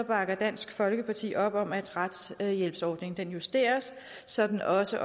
bakker dansk folkeparti op om at retshjælpsordningen justeres så den også